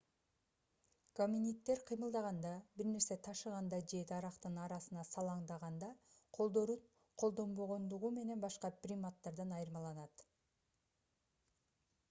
гоминиддер кыймылдаганда бир нерсе ташыганда же дарактын арасына салаңдаганда колдорун колдонбогондугу менен башка приматтардан айырмаланат